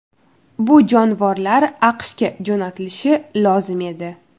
Bu jonivorlar AQShga jo‘natilishi lozim edi.